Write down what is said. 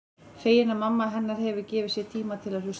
Fegin að mamma hennar hefur gefið sér tíma til að hlusta.